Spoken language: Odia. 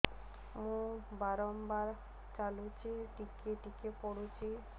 ମୁତ ବାର୍ ବାର୍ ଲାଗୁଚି ଟିକେ ଟିକେ ପୁଡୁଚି